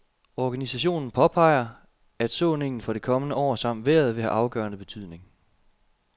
Organisationen påpeger, at såningen for det kommende år samt vejret vil have afgørende betydning.